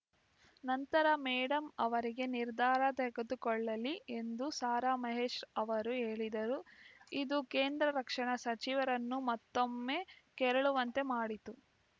ನಂತರ ಮೇಡಂ ಅವರೇ ನಿರ್ಧಾರ ತೆಗೆದುಕೊಳ್ಳಲಿ ಎಂದು ಸಾರಾ ಮಹೇಶ್‌ ಅವರು ಹೇಳಿದರು ಇದು ಕೇಂದ್ರ ರಕ್ಷಣಾ ಸಚಿವರನ್ನು ಮತ್ತೊಮ್ಮೆ ಕೆರಳುವಂತೆ ಮಾಡಿತು